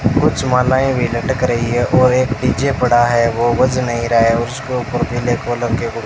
कुछ मालाएं भी लटक रही है और एक डी_जे पड़ा है वो बज नहीं रहा है और उसके ऊपर पिले कलर के हुड --